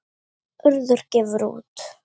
Urður gefur út.